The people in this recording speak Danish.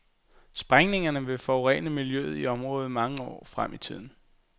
Sprængningerne vil forurene miljøet i området mange år frem i tiden.